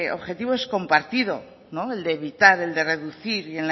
objetivo es compartido el de evitar el de reducir y